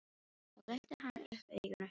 Þá glennti hann upp augun og hummaði.